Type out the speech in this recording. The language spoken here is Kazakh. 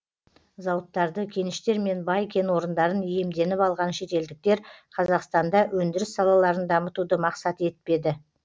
зауыттарды кеніштер мен бай кен орындарын иемденіп алған шетелдіктер қазақтанда өндіріс салаларын дамытуды мақсат етпеді